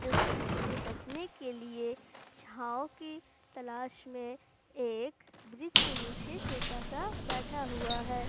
जो धुप से बचने के लिए छांव की तलाश में एक ब्रिज के नीचे छोटा सा बैठा हुआ है।